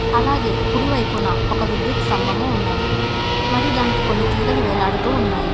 అలాగే కుడివైపున ఒక విద్యుత్ స్తంభము ఉన్నది మరియు దానికి కొన్ని తీగలు వేలాడుతూ ఉన్నాయి.